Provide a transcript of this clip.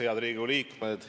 Head Riigikogu liikmed!